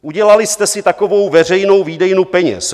Udělali jste si takovou veřejnou výdejnu peněz.